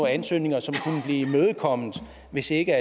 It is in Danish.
ansøgninger som kunne blive imødekommet hvis ikke